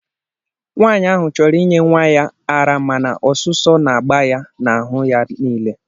Nwanyị ahụ chọrọ inye nwa ya ara mana ọsụsọ na-agba ya n'ahụ ya niile